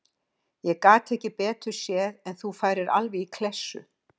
Ég gat ekki betur séð en að þú færir alveg í klessu.